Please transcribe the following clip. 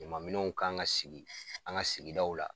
Ɲamaminɛnw kan ka sigi an ka sigidaw la